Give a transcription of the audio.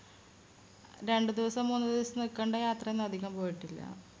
രണ്ടുദിവസം മൂന്നുദിവസം നിക്കണ്ട യാത്രയയൊന്നും അധികം പോയിട്ടില്ല